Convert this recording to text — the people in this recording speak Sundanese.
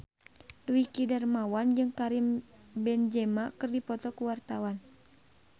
Dwiki Darmawan jeung Karim Benzema keur dipoto ku wartawan